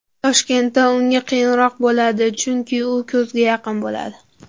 Toshkentda unga qiyinroq bo‘ladi, chunki u ko‘zga yaqin bo‘ladi.